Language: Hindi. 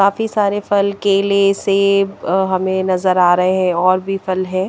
काफी सारे फल केले सेब अ हमें नज़र आ रहे है और भी फल है ।